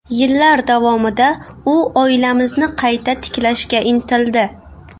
Yillar davomida u oilamizni qayta tiklashga intildi.